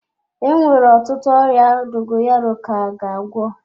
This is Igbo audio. Enwere ọtụtụ ọrịa dogoyaro ka ga agwọ.